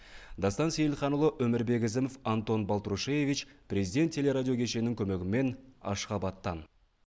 дастан сейілханұлы өмірбек ізімов антон балтрушеевич президент телерадио кешеннің көмегімен ашхабаттан